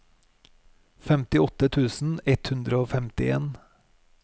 femtiåtte tusen ett hundre og femtien